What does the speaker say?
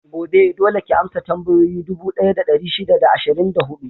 Gobe, dole ki amsa tambayoyi dubu ɗaya da ɗari shida da ashirin da huɗu!